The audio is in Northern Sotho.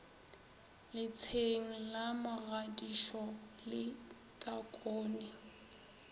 letsheng la mogadisho le takone